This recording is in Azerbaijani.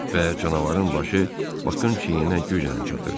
Və canavarın başı Baxın çiyninə güclə çatırdı.